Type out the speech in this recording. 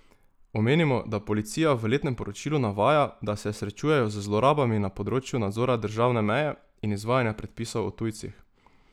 Omenimo, da policija v letnem poročilu navaja, da se srečujejo z zlorabami na področju nadzora državne meje in izvajanja predpisov o tujcih.